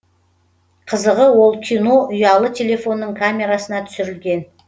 қызығы ол кино ұялы телефонның камерасына түсірілген